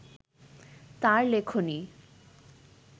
তার লেখনী